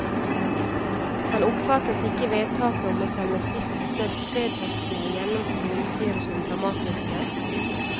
Han oppfattet ikke vedtaket om å sende stiftelsesvedtektene gjennom kommunestyret som dramatiske.